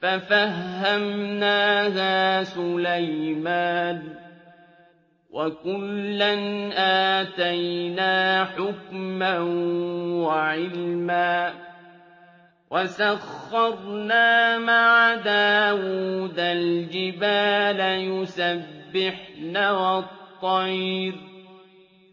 فَفَهَّمْنَاهَا سُلَيْمَانَ ۚ وَكُلًّا آتَيْنَا حُكْمًا وَعِلْمًا ۚ وَسَخَّرْنَا مَعَ دَاوُودَ الْجِبَالَ يُسَبِّحْنَ وَالطَّيْرَ ۚ